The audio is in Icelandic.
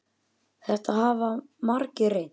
Þetta hafa margir reynt.